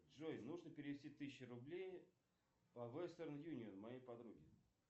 джой нужно перевести тысячу рублей по вестерн юнион моей подруге